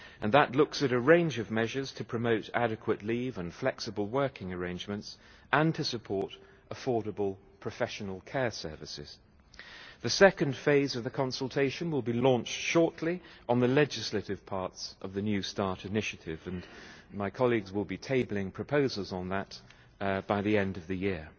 That looks at a range of measures to promote adequate leave and flexible working arrangements and to support affordable professional care services. The second phase of the consultation will be launched shortly, on the legislative parts of the new start' initiative, and my colleagues will be tabling proposals on that by the end of the year.